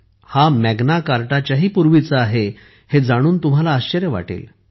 हामॅग्ना कार्टाच्याही पूर्वीचा आहे हे जाणून तुम्हाला आश्चर्य वाटेल